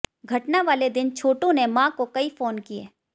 घटनावाले दिन छोटू ने मां को कई फोन किए